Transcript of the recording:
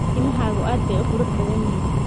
Timahaagu aad bay u qurux badan yihiin.